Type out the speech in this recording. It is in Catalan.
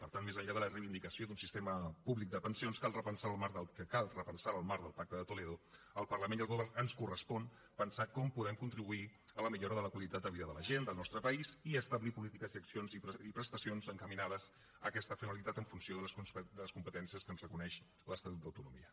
per tant més enllà de la reivindicació d’un sistema públic de pensions que cal repensar en el marc del pacte de toledo al parlament i al govern ens correspon pensar com podem contribuir a la millora de la qualitat de la vida de la gent del nostre país i establir polítiques i accions i prestacions encaminades a aquesta finalitat en funció de les competències que ens reconeix l’estatut d’autonomia